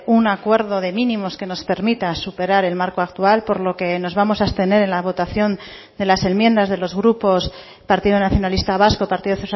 un acuerdo de mínimos que nos permita superar el marco actual por lo que nos vamos a abstener en la votación de las enmiendas de los grupos partido nacionalista vasco partido